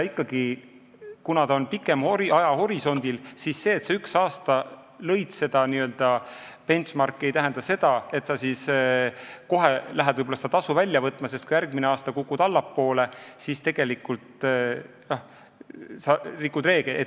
Ikkagi, kuna ajahorisont on pikem, siis see, kui sa üks aasta lõid seda n-ö benchmark'i, ei tähenda, et sa kohe lähed seda tasu välja võtma, sest kui sa järgmine aasta kukud allapoole, siis sa rikud reegleid.